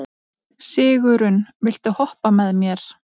Sigurunn, viltu hoppa með mér?